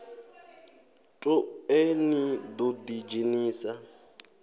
toe ni ḓo ḓi dzhenisa